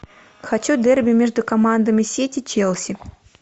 хочу дерби между командами сити челси